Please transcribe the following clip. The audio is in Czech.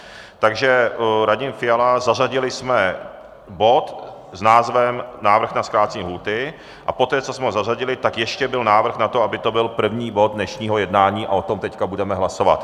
Takže Radim Fiala - zařadili jsme bod s názvem návrh na zkrácení lhůty a poté, co jsme ho zařadili, tak ještě byl návrh na to, aby to byl první bod dnešního jednání, a o tom teď budeme hlasovat.